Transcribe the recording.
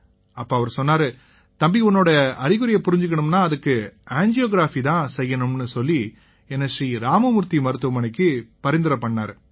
அப்ப அவரு சொன்னாரு தம்பி உன்னோட அறிகுறியை புரிஞ்சுக்கணும்னா அதுக்கு ஆஞ்சியோகிராஃபி தான் செய்யணும்னு சொல்லி என்னை ஸ்ரீ ராம மூர்த்தி மருத்துவமனைக்கு பரிந்துரை செஞ்சாரு